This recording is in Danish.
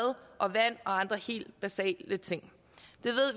og vand og andre helt basale ting